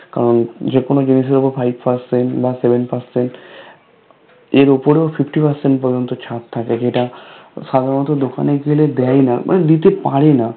কারণ যেকোনো জিনিস এর উপর Five Percent বা Seven Percent এর উপরেও Fifty Percent পর্যন্ত ছাড় থাকে যেটা সাধারণত দোকানে গেলে দেয়না মানে দিতে পারেনা